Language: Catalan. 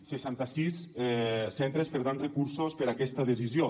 seixanta sis centres perdran recursos per aquesta decisió